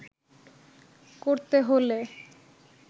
করতে হলে